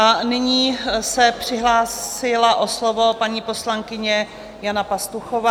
A nyní se přihlásila o slovo paní poslankyně Jana Pastuchová.